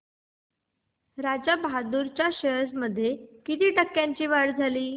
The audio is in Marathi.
राजा बहादूर च्या शेअर्स मध्ये किती टक्क्यांची वाढ झाली